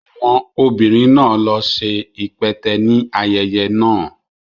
Àwọn obìnrin náà ló ṣe ipẹtẹ ní ayẹyẹ náà